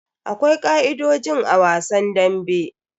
Akwai ka'idojin a wasan dambe.